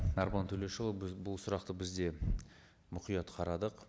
арман төлешұлы біз бұл сұрақты біз де мұқият қарадық